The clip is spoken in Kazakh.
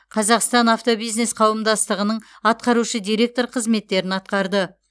қазақстан автобизнес қауымдастығының атқарушы директоры қызметтерін атқарды